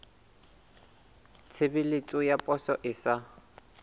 tshebeletso ya poso e sa